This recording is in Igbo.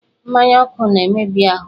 Mmanya ọkụ na-emebi ahụ.